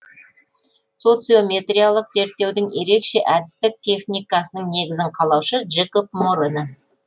социометриялық зерттеудің ерекше әдістік техникасының негізін қалаушы джекоб морено